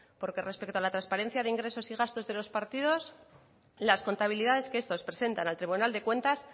porque respecto a la transparencia de ingresos y gastos de los partidos las contabilidades que estos presentan al tribunal de cuentas